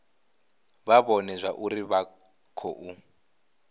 vha vhone zwauri vha khou